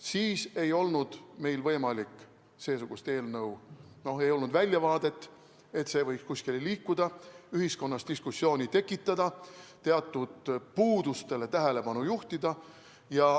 Siis ei olnud seesugune eelnõu võimalik, ei olnud väljavaadet, et see võiks kuskile liikuda, ühiskonnas diskussiooni tekitada, teatud puudustele tähelepanu juhtida.